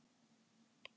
Lýkur sér af.